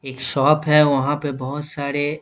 एक शॉप है वहाँ पे बहुत सारे --